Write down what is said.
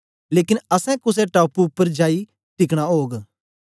लेकन असैं कुसे टापू उपर जाई टिकना ओग